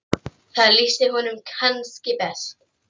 Það lýsti honum kannski best.